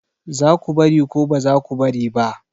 Za ku bari ko ba za ku bari ba?